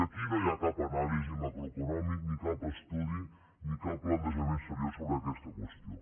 i aquí no hi ha cap anàlisi macroeconòmica ni cap estudi ni cap plantejament seriós sobre aquesta qüestió